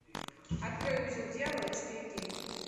открой узел дьявола четыре кей